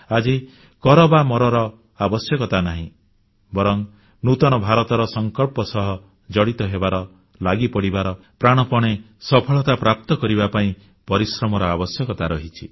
ଆଜି କର ବା ମରର ଆବଶ୍ୟକତା ନାହିଁ ବରଂ ନୂତନ ଭାରତର ସଂକଳ୍ପ ସହ ଜଡ଼ିତ ହେବାର ଲାଗିପଡ଼ିବାର ପ୍ରାଣପଣେ ସଫଳତା ପ୍ରାପ୍ତ କରିବା ପାଇଁ ପରିଶ୍ରମର ଆବଶ୍ୟକତା ରହିଛି